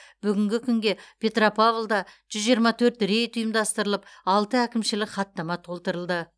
бүгінгі күнге петропавлда жүз жиырма төрт рейд ұйымдастырылып алты әкімшілік хаттама толтырылды